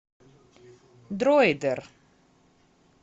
дроидер